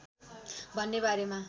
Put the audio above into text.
भन्ने बारेमा